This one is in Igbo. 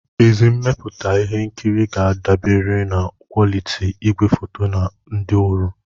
Ezi mmepụta ihe nkiri ga-adaberiri na kwoliti igwefoto na ndị ọrụ.